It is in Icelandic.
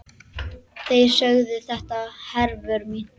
Þeir sögðu þetta, Hervör mín.